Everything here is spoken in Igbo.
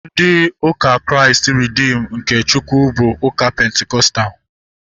Ndị ụka Kraịst Reedim nke Chukwu bụ ụka pentikọstal